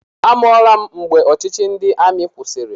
Amụọla m mgbe ọchịchị ndị amị kwụsịrị.